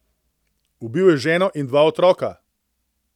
Ubil je ženo in dva otroka.